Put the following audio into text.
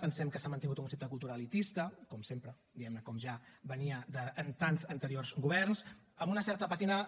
pensem que s’ha mantingut un concepte de cultura elitista com sempre diguem ne com ja venia de tants anteriors governs amb una certa pàtina